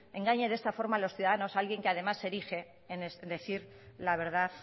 engañe de esta forma a los ciudadanos alguien que además se erige en decir la verdad